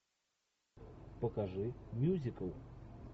покажи мюзикл